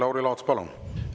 Lauri Laats, palun!